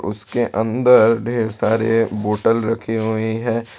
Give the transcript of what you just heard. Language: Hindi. उसके अंदर ढेर सारे बोटल रखी हुई है।